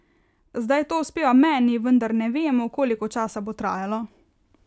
Zdaj to uspeva meni, vendar ne vemo, koliko časa bo trajalo.